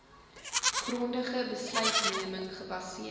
grondige besluitneming gebaseer